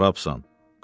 Prorabsan.